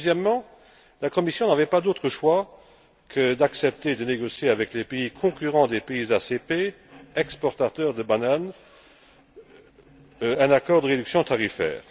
Deuxièmement, la Commission n'avait pas d'autre choix que d'accepter de négocier avec les pays concurrents des pays ACP exportateurs de bananes un accord de réduction tarifaire.